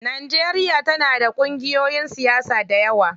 Najeriya tana da ƙungiyoyin siyasa dayawa.